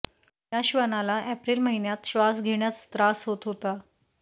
या श्वानाला एप्रिल महिन्यात श्वास घेण्यास त्रास होत होता